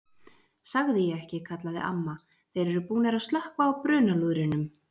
Sagði ég ekki kallaði amma, þeir eru búnir að slökkva á brunalúðrinum